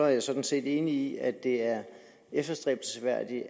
jeg sådan set enig i at det er efterstræbelsesværdigt